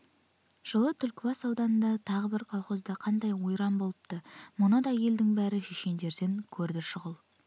жылы түлкібас ауданындағы тағы бір колхозда қанды ойран болыпты мұны да елдің бәрі шешендерден көрді шұғыл